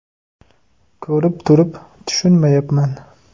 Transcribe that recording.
Ko‘rib turib, tushunmayapman.